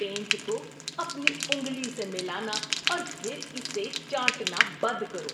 Pant کو اپنی انگلی سے ملانا اور پھر اسے چاٹنا بند کرو۔